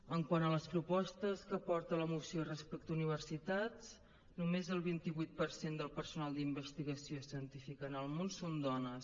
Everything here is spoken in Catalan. quant a les propostes que porta la moció respecte a universitats només el vint vuit per cent del personal d’investigació científica en el món són dones